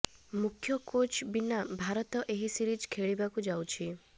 ମୁଖ୍ୟ କୋଚ୍ ବିନା ଭାରତ ଏହି ସିରିଜ ଖେଳିବାକୁ ଯାଉଛି